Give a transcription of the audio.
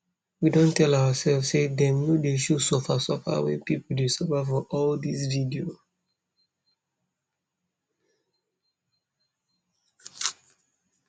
we don tell oursef say dem nor dey show suffer suffer wey pipo dey suffer for all dis video